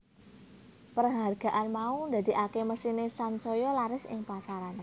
Perhargaan mau ndadeake mesine sansaya laris ing pasaran